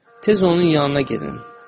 Tez onun yanına gedin.